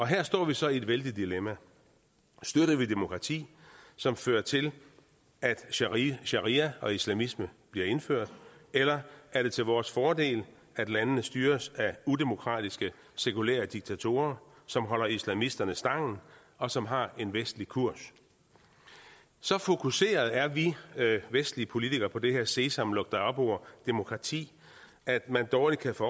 her står vi så i et vældigt dilemma støtter vi demokrati som fører til at sharia sharia og islamisme bliver indført eller er det til vores fordel at landene styres af udemokratiske sekulære diktatorer som holder islamisterne stangen og som har en vestlig kurs så fokuserede er vi vestlige politikere på det her sesam luk dig op ord demokrati at man dårligt kan få